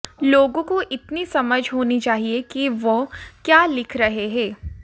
लोगों को इतनी समझ होनी चाहिए कि वह क्या लिख रहे हैं